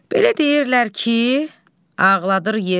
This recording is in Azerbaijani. Belə deyirlər ki, ağladır yeri.